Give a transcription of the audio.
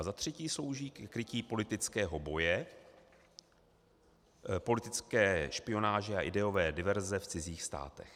A za třetí slouží ke krytí politického boje, politické špionáže a ideové diverze v cizích státech.